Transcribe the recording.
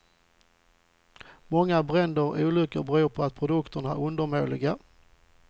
Många bränder och olyckor beror på att produkterna är undermåliga.